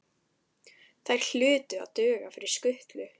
Þær hlutu að duga fyrir skutlu.